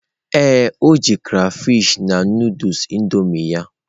Ee, o ji crayfish na Nụdụls Indomie ya.